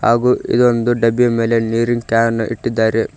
ಹಾಗು ಇದೊಂದು ಡಬ್ಬಿಯ ಮೇಲೆ ನೀರಿನ್ ಕ್ಯಾನ್ ಇಟ್ಟಿದ್ದಾರೆ.